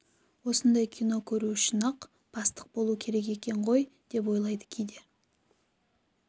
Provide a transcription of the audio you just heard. осындай кино көру үшін-ақ бастық болу керек екен ғой деп ойлайды кейде